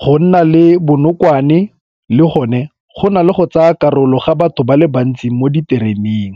Go nna le bonokwane le gone go na le go tsaya karolo ga batho ba le bantsi mo ditereneng.